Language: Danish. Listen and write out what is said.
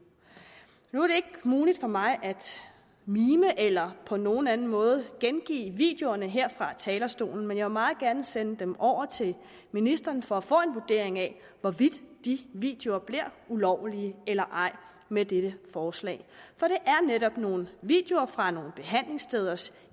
nu er det ikke muligt for mig at mime eller på nogen anden måde gengive videoerne her fra talerstolen men jeg vil meget gerne sende dem over til ministeren for at få en vurdering af hvorvidt de videoer bliver ulovlige eller ej med dette forslag for det er netop nogle videoer fra nogle behandlingssteders